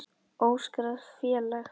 Óskráð félag.